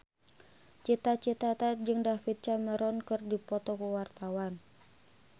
Cita Citata jeung David Cameron keur dipoto ku wartawan